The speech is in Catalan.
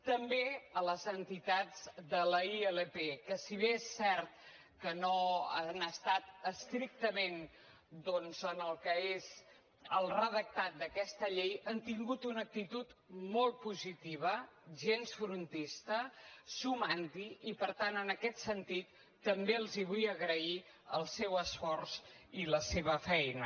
també a les entitats de la ilp que si bé és cert que no han estat estrictament doncs en el que és el redactat d’aquesta llei han tingut una actitud molt positiva gens frontista sumant hi i per tant en aquest sentit també els vull agrair el seu esforç i la seva feina